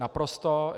Naprosto.